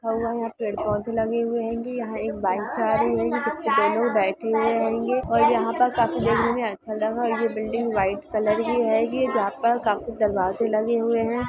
पेड़-पौधे लगे हुए हेंगी यहाँ एक बाइक जा रही है जिसपे दो लोग बैठे हुए हेंगे और यहाँ पे काफी देखने में अच्छा लगा और ये बिल्डिंग व्हाइट कलर की हेंगी जहां पर काफी दरवाजे लगे हुए है।